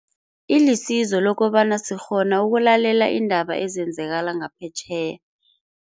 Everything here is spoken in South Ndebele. Ilisizo lokobana sikgona ukulalela iindaba ezenzakala ngaphetjheya.